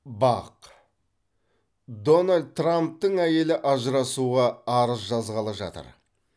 бақ дональд трамптың әйелі ажырасуға арыз жазғалы жатыр